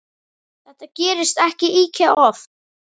Þetta gerist ekki ýkja oft.